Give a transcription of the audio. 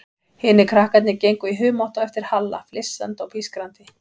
Hinir krakkarnir gengu í humátt á eftir Halla, flissandi og pískrandi.